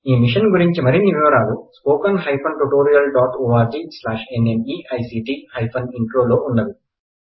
ఈ మిషన్ గురిచి మరిన్ని వివరాలు spoken hyphen tutorial dot O R G slash N M E I C T hyphen intro లో ఉన్నవి